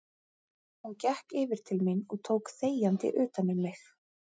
Hún gekk yfir til mín og tók þegjandi utan um mig.